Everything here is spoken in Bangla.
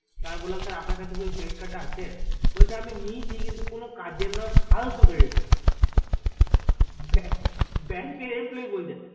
তো আমি বলাম যে sir আপনার কাছে কি ওই credit card টা আছে বলছে আমি নিয়েছি কিন্তু কোনো কাজের নই ফালতু credit card bank এর employee বলছে